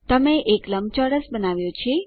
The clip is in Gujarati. તમે એક લંબચોરસ બનાવ્યો છે